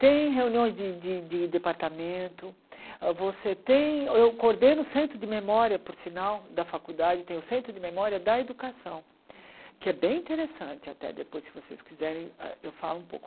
Tem reuniões de de de departamento, você tem, eu coordeno o centro de memória, por sinal, da faculdade, tem o centro de memória da educação, que é bem interessante até depois, se vocês quiserem ah eu falo um pouco.